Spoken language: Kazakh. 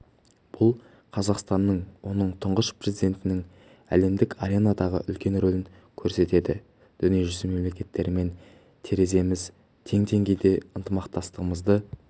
бұл қазақстанның оның тұңғыш президентінің әлемдік аренадағы үлкен рөлін көрсетеді дүниежүзі мемлекеттерімен тереземіз тең деңгейде ынтымақтастығымызды